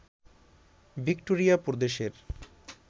Victoria প্রদেশের